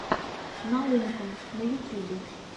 наумка на ютюбе